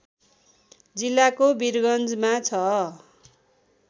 जिल्लाको वीरगन्जमा छ